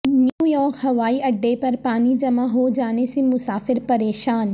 New York ہوائی اڈے پر پانی جمع ہو جانے سے مسافر پریشان